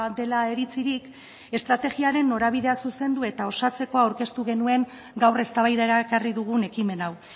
dela iritzirik estrategiaren norabidea zuzendu eta osatzeko aurkeztu genuen gaur eztabaidara ekarri dugun ekimen hau